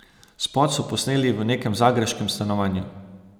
Spot so posneli v nekem zagrebškem stanovanju.